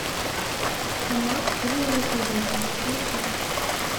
канал с фильмами ужасов включить